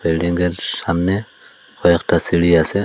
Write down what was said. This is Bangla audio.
বিল্ডিংয়ের সামনে কয়েকটা সিঁড়ি আছে।